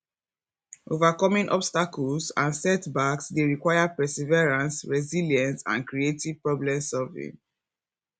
overcoming obstacles and setbacks dey require perseverance resilience and creative problemsolving